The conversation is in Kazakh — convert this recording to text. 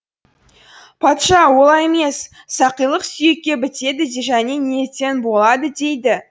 патша олай емес сақилық сүйекке бітеді және ниеттен болады деді